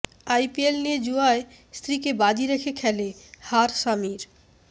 IPL নিয়ে জুয়ায় স্ত্রীকে বাজি রেখে খেলে হার স্বামীর